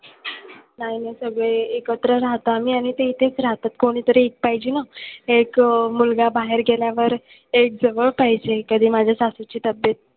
नाही नाही सगळे एकत्र राहतो आम्ही आणि ते इथेच राहतात. कोणीतरी एक पाहिजे ना. एक मुलगा बाहेर गेल्यावर एक जवळ पाहिजे. कधी माझ्या सासूची तब्येत,